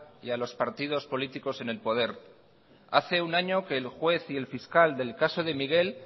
y a los partidos políticos en el poder hace un año que el juez y el fiscal del caso de miguel